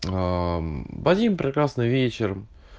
аа в один прекрасный вечер